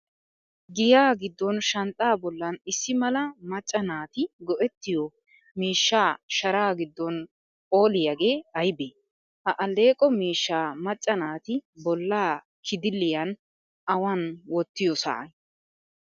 Giyaa giddon shanxxaa bollan issi mala macca naati go'ettiyo miishsha sharaa giddon phooliyaage aybee? Ha alleeqo miishshaa macca naati bollaa kidiliyan awan wottiyoosaa?